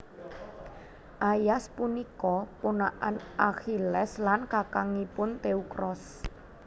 Aias punika ponakan Akhilles lan kakangipun Teukros